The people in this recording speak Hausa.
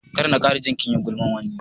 Kar na kara ji kinyi gulman wani